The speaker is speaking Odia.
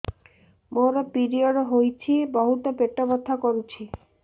ମୋର ପିରିଅଡ଼ ହୋଇଛି ବହୁତ ପେଟ ବଥା କରୁଛି